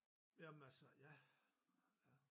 Jamen altså ja ja